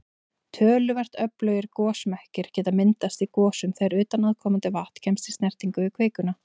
Töluvert öflugir gosmekkir geta myndast í gosum þegar utanaðkomandi vatn kemst í snertingu við kvikuna.